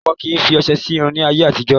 Wọn kì ń fi ọsẹ sì irun ni ayé àtijọ́